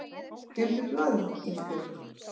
Geymdu blaðið Ísbjörg.